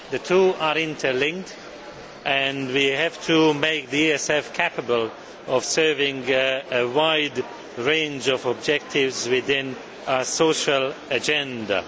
The two are interlinked, and we have to make the ESF capable of serving a wide range of objectives within a social agenda.